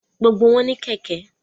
Gbogbo wọn ní kẹ̀kẹ́